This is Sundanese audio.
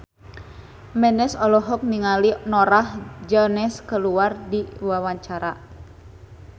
Memes olohok ningali Norah Jones keur diwawancara